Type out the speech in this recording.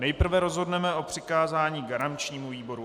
Nejprve rozhodneme o přikázání garančnímu výboru.